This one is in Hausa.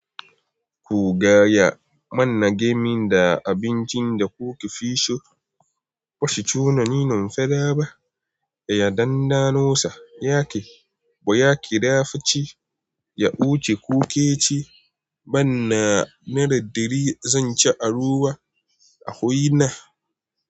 Ku gaya mun wanne game da abincin da kukefi so. Bashi tunanin in fada ba, ya dan da no sa, yaƙi, boyaki da fice, ya buce kuke ci. Manna naira ɗari zanci a ruwa a waina.